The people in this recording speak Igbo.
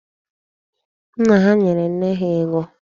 Nna ha nyere nne ha ego.